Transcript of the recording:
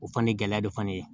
O fana gɛlɛya de fana ye